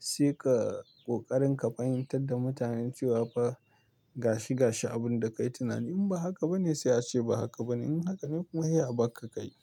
sai ka ƙoƙarin ka fahimtar da mutanen cewa fa gashi gashi abun da ka yi tunani. In ba haka ba ne sai a ce ba haka ba ne. In haka ne kuma, sai a barka ka yi.